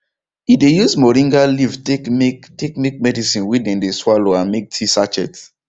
he de use moringa leave take make take make medicine wey dem de swallow and make tea sachet